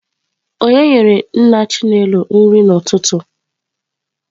Onye nyere nna Chinelo nri n'ụtụtụ?